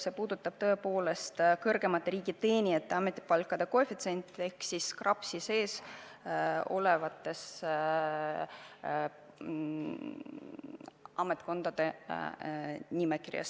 See puudutab tõepoolest kõrgemate riigiteenijate ametipalkade koefitsiente ehk siis KRAPS-is kirjas olevate ametikohtade palku.